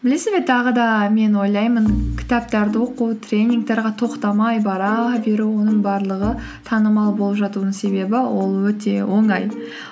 білесіз бе тағы да мен ойлаймын кітаптарды оқу тренингтерге тоқтамай бара беру оның барлығы танымал болып жатудың себебі ол өте оңай